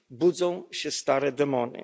Budzą się stare demony.